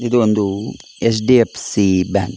ಇದು ಒಂದು H D F C bank .